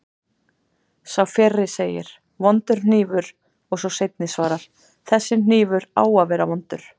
Sá fyrri segir: Vondur hnífur og sá seinni svarar: Þessi hnífur á að vera vondur